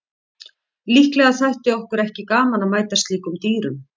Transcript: Líklega þætti okkur ekki gaman að mæta slíkum dýrum.